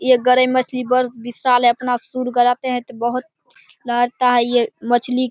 ये गरेय मछली बर विशाल है ये अपना सुर गराते है तो बोहोत लहरता है ये मछली --